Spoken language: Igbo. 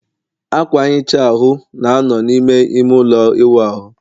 akwa nghicha ahụ, na-anọ n'ime ime ụlọ ịwụ ahụ